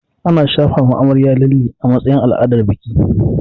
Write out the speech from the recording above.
Ana shafawa amarya lalle a matsayin al'adar biki